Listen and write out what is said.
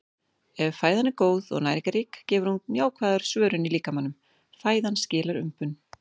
Ef fæðan er góð og næringarrík gefur hún jákvæða svörun í líkamanum- fæðan skilar umbun.